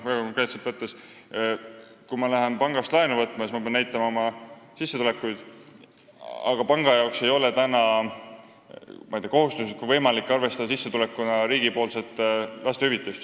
Väga konkreetselt võttes: kui ma lähen pangast laenu võtma, siis ma pean näitama oma sissetulekuid, aga panga jaoks ei ole praegu kohustuslik või võimalik sissetulekuna arvestada riigipoolset lapsetoetust.